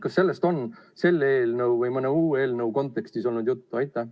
Kas sellest on selle eelnõu või mõne muu eelnõu kontekstis olnud juttu?